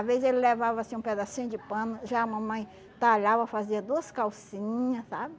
Às vezes, ele levava, assim, um pedacinho de pano, já a mamãe talhava, fazia duas calcinha, sabe?